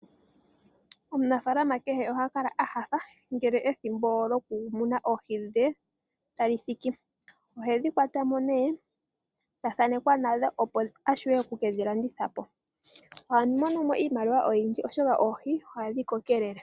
Omunafaalama kehe oha kala a nyanyukwa, ngele ethimbo lyokumuna oohi dhe talithiki. Ohedhi kwatamo nee, tathaanekwa nadho opo avule oku kedhi landithapo. Oha monomo iimaliwa oyindji, oshoka oohi ohadhi kokelele.